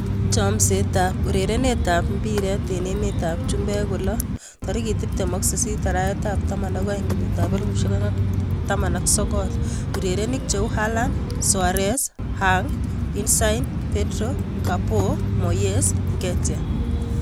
Chomset ab urerenet ab mbiret eng emet ab chumbek kolo 28.12.2019: Haaland, Soares, Hwang, Insigne, Pedro, Capoue, Moyes, Nketiah